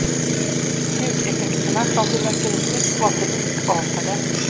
Ljudeffekterna från fyrverkeriet var för likartade.